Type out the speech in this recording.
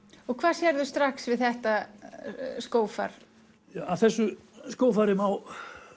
og hvað sérðu strax við þetta skófar að þessu skófari má